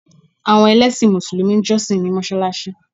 Àwọn ẹlẹ́sìn mùsùlùmí ń jọ́ṣì ní mọsáláṣí